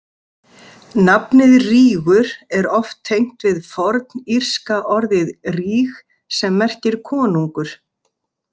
Nafnið Rígur er oft tengt við fornírska orðið ríg sem merkir konungur.